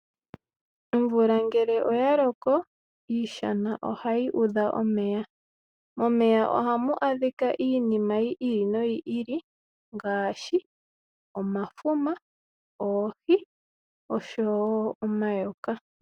Omvula ngele oya loko, iishana ohayi udha omeya. Momeya oha mu adhika iinima yi ili no yi ili ngaashi; omafuma, oohi osho woo omayoka.